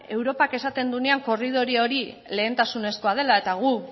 europak esaten duenean korridore hori lehentasunezkoa dela eta gu